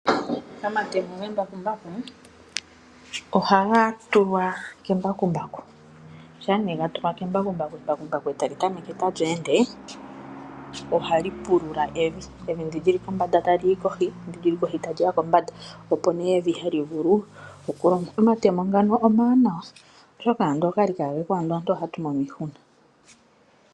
Omatemo gembakumbaku ohaga tulwa kembakumbaku . Ngele gatulwa kembakumbaku, embakumbaku etali tameke tali ende , ohali pulula evi. Evi ndi lyili kombanda tali yi kohi , ndi lili kohi taliya kombanda opo evi hali vulu okulandwa. Omatemo ngano omawanawa oshoka ngele ogali kaagepo, andola ohatu mono iihuna.